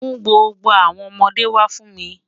Mú gbogbo awọn ọmọde wa fún mi.